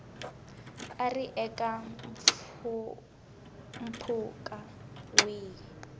a ri eka mpfhuka wihi